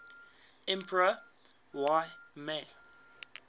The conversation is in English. emperor y mei